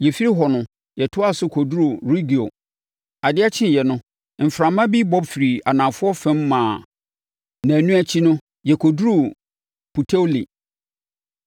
Yɛfiri hɔ no, yɛtoaa so kɔduruu Regio. Adeɛ kyeeɛ no, mframa bi bɔ firi anafoɔ fam maa nnanu akyi no, yɛkɔduruu Puteoli.